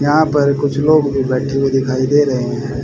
यहां पर कुछ लोग भी बैठे हुए दिखाई दे रहे हैं।